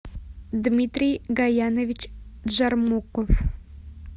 дмитрий гаянович джармуков